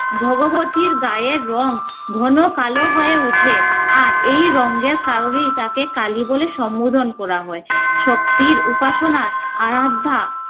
ভগবতীর গায়ের রং ঘন কালো হয়ে ওঠে। আর এই রঙের কারণেই তাকে কালী বলে সমন্ধ করা হয়। শক্তির উপাসনার আরাধ্যা